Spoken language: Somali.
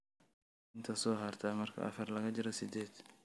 inta soo harta marka afar laga jaro sideed